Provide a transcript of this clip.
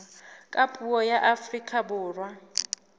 ka puo la afrika borwa